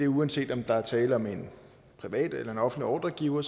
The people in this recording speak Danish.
uanset om der er tale om en privat eller offentlig ordregiver